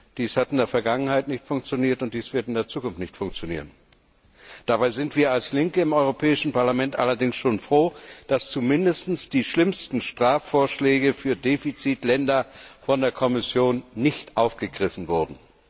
Dies hat in der Vergangenheit nicht funktioniert, und dies wird in der Zukunft nicht funktionieren. Dabei sind wir als Linke im Europäischen Parlament allerdings schon froh, dass zumindest die schlimmsten Strafvorschläge für Defizitländer von der Kommission nicht aufgegriffen wurden.